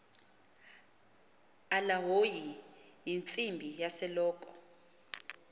alahoyi yintsimbi yaseloko